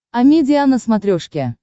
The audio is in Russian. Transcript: амедиа на смотрешке